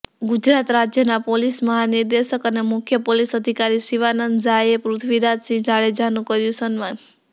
ગુજરાત રાજ્યના પોલીસ મહાનિર્દેશક અને મુખ્ય પોલીસ અધિકારી શિવાનંદ ઝાએ પૃથ્વીરાજસિંહ જાડેજાનું કર્યું સન્માન